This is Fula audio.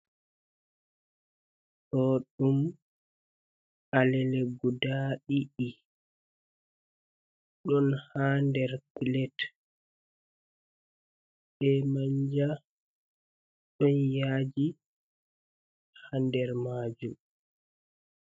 Ɗo ɗum alele guda ɗiɗi, ɗon haa nder pilet be manja. Ɗon yaaji haa nder maajum.